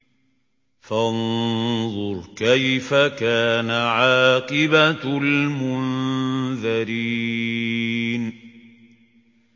فَانظُرْ كَيْفَ كَانَ عَاقِبَةُ الْمُنذَرِينَ